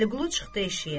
Vəliqulu çıxdı eşiyə.